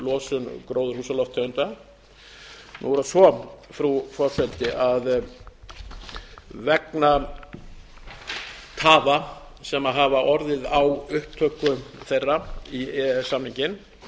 losun gróðurhúsalofttegunda nú er það svo frú forseti að vegna tafa sem hafa orðið á upptöku þeirra í e e s samninginn